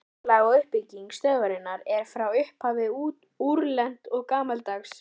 Skipulag og uppbygging stöðvarinnar er frá upphafi úrelt og gamaldags.